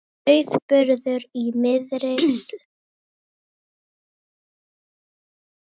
Sauðburður í miðri sláturtíð